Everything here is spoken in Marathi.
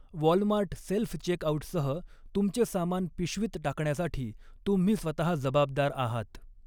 वॉलमार्ट सेल्फ चेकआऊटसह, तुमचे सामान पिशवीत टाकण्यासाठी तुम्ही स्वतहा जबाबदार आहात.